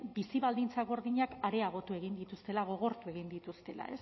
bizi baldintzak gordinak areagotu egin dituztela gogortu egin dituztela